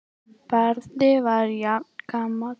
Barði var jafngamall